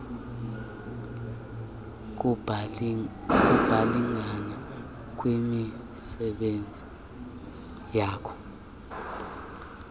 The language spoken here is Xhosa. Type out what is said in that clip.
kubalingane kwizikhulu nakuxhasi